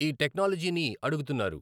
ఈ టెక్నాలజీని అడుగుతున్నారు